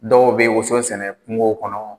Dɔw bɛ woso sɛnɛ kungow kɔnɔ,